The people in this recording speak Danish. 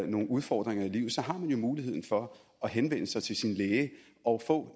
nogle udfordringer i livet så har man jo mulighed for at henvende sig til sin læge og få